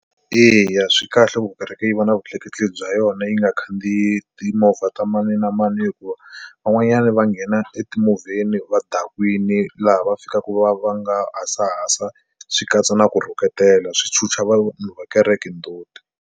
Eya swi kahle ku kereke yi va na vutleketli bya yona yi nga khandziyi timovha ta mani na mani hikuva van'wanyani va nghena emovheni va dakwini laha va fikaka va va nga hasahasa swi katsa na ku rhuketela swi chuha vanhu va kereke ndzhuti.